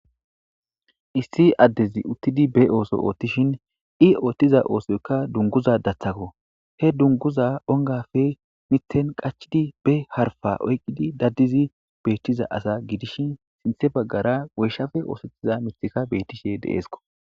issi addezi uttidi be ooso oothtishin i oottiza oosoyka dunguza dathako he dunguza ongafe mithen qachidi be harfa oyqqidi daddizi beettiza asa gidishi sinthe baggara weyshafe oosetiza mithika beettishe deeesko